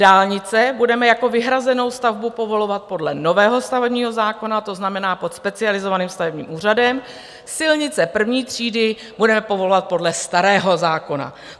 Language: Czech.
Dálnice budeme jako vyhrazenou stavbu povolovat podle nového stavebního zákona, to znamená pod specializovaným stavebním úřadem, silnice první třídy budeme povolovat podle starého zákona.